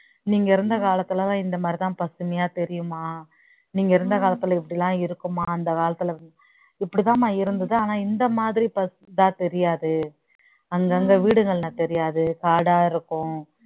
நீங்க இருந்த காலத்துலதான் இந்த மாதிரிதான் பசுமையா தெரியுமா நீங்க இருந்த காலத்துல இப்படி எல்லாம் இருக்குமா அந்த காலத்துல இப்படிதாம்மா இருந்தது ஆனா இந்த மாதிரி தெரியாது அங்கங்க வீடுகள்லாம் தெரியாது காடா இருக்கும்